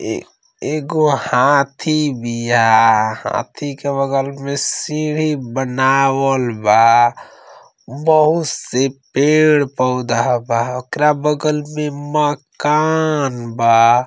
एगो हाथी बिहा। हाथी के बगल मे सीडी बनवलबा बहुत से पेड़ पोधा बा। ओकरा बगल मे मकान बा।